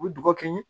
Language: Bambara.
U bɛ dɔgɔ kɛ yen